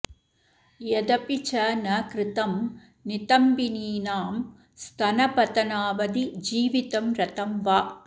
यदपि च न कृतं नितम्बिनीनां स्तनपतनावधि जीवितं रतं वा